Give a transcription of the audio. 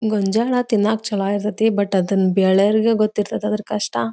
ಮುಂಜಾನೆ ತಿನ್ನಕ್ಕ ಚಲೋ ಇರತ್ಯ ತಿ ಬಟ್ ಬೆಳೆಯೋರಗೆ ಗೊತ್ತ ಇರತದ್ ಅದರ ಕಷ್ಟ.